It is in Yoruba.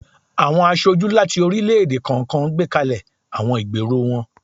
Awọn aṣoju lati orilẹ-ede kọọkan gbekalẹ awọn igbero wọn.